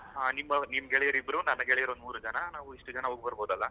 ಹಾ ನಿಮ್ ಗೆಳೆಯರ ಇಬ್ರು, ನನ್ನ ಗೆಳೆಯರ ಒಂದ್ ಮೂರೂ ಜನ , ನಾವ್ ಇಸ್ಟ್ ಜನ ಹೋಗ್ಬರಬಹುದಲ.